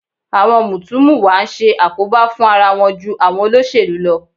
Àwọn mùtúmùwà ń ṣe àkóbá fún ara wọn ju àwọn olóṣèlú lọ